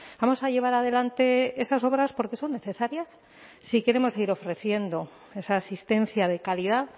vamos a llevar adelante esas obras porque son necesarias si queremos seguir ofreciendo esa asistencia de calidad